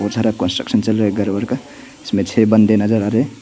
बहुत सारा कंस्ट्रक्शन चल रहा है घर वर का इसमें छ बंदे नजर आ रहे है।